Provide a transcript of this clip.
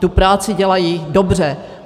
Tu práci dělají dobře.